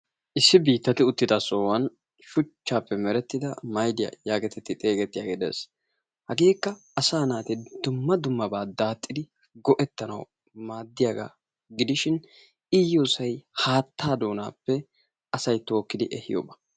Issi biittati uttida sohuwan shuchchaappe merettida maydiya yaagetetti xeegettiyagee de'ees. Hageekka asaa naati dumma dummabaa daaxxidi go'ettanawu maaddiyagaa gidishin I yiyosay haattaa doonappe asay tookkidi ehiyoba.